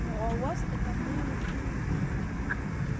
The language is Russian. ну а у вас это может быть